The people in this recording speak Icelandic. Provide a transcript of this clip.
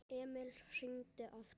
Emil hringdi aftur.